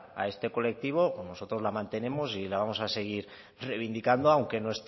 a este colectivo pues nosotros la mantenemos y la vamos a seguir reivindicando aunque no